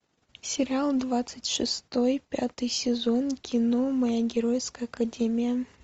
сериал двадцать шестой пятый сезон кино моя геройская академия